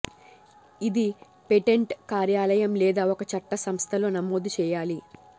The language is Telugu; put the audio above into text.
ఇది పేటెంట్ కార్యాలయం లేదా ఒక చట్ట సంస్థ లో నమోదు చేయాలి